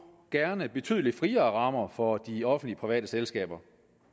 gerne betydelig friere rammer for de offentlig private selskaber